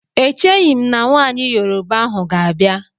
E cheghim na nwaanyị Yoroba ahụ ga-abịa.